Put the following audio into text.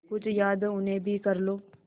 कुछ याद उन्हें भी कर लो